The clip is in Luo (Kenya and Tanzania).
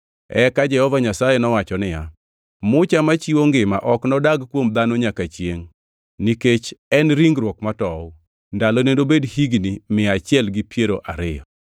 Eka Jehova Nyasaye nowacho niya, “Mucha machiwo ngima ok nodag kuom dhano nyaka chiengʼ, nikech en ringruok matow, ndalone nobed higni mia achiel gi piero ariyo.”